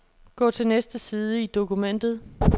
Gå til næste side i dokumentet.